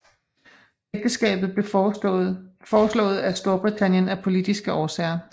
Ægteskabet blev foreslået af Storbritannien af politiske årsager